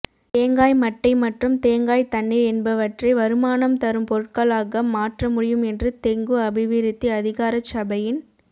தேங்காய் மட்டை மற்றும் தேங்காய் தண்ணீர் என்பவற்றை வருமானம் தரும் பொருட்களாக மாற்ற முடியும் என்று தெங்கு அபிவிருத்தி அதிகாரச்சபையின்